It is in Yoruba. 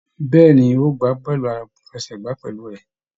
Bẹ̀ẹ́ni, n o gbá bọọlu àfẹ́sẹ̀gbà pẹlú rẹ.